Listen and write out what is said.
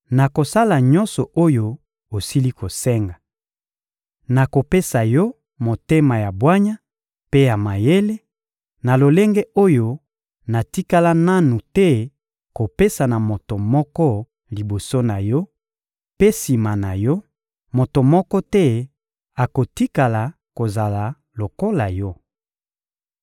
nakosala nyonso oyo osili kosenga. Nakopesa yo motema ya bwanya mpe ya mayele, na lolenge oyo natikala nanu te kopesa na moto moko liboso na yo; mpe sima na yo, moto moko te akotikala kozala lokola yo.